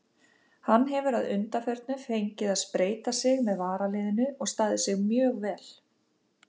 Hann hefur að undanförnu fengið að spreyta sig með varaliðinu og staðið sig mjög vel.